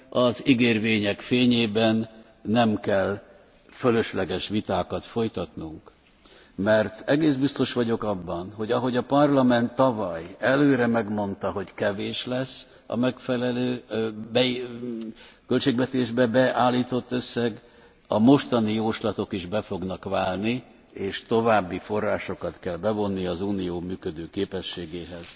Az ígérvények fényében nem kell fölösleges vitákat folytatnunk, mert egész biztos vagyok abban, hogy ahogy a Parlament tavaly előre megmondta, hogy kevés lesz a megfelelő költségvetésbe beállított összeg, a mostani jóslatok is be fognak válni, és további forrásokat kell bevonni az Unió működőképességéhez.